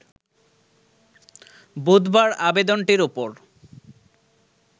বুধবার আবেদনটির ওপর